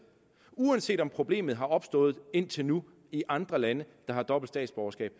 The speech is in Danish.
uanset om problemet er opstået indtil nu i andre lande der har dobbelt statsborgerskab